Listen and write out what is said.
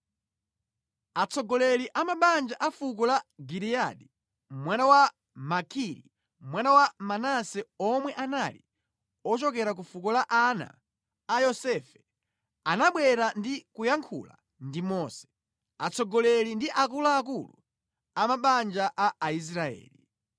Atsogoleri a mabanja a fuko la Giliyadi, mwana wa Makiri, mwana wa Manase omwe anali ochokera ku fuko la ana a Yosefe anabwera ndi kuyankhula ndi Mose, atsogoleri ndi akuluakulu a mabanja a Aisraeli.